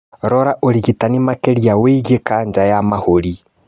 Rora ũrigitani makĩria wĩgiĩ kanja ya mahũri